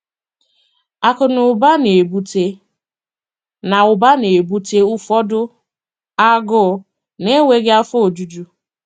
Akụ na ụba na-ebute na ụba na-ebute ụfọdụ agụụ na-enweghị afọ ojuju.